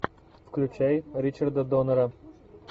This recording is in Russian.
включай ричарда доннера